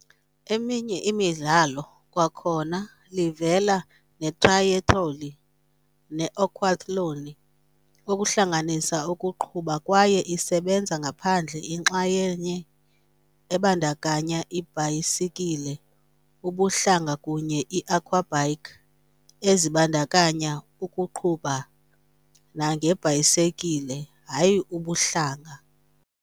Eminye imidlalo kwakhona livela netrayethloni na Aquathlon, okuhlanganisa ukuqubha kwaye isebenza ngaphandle inxalenye ebandakanya ibhayisikile ubuhlanga kunye aquabike, ezibandakanya ukuqubha nangebhayisekile, hayi ubuhlanga.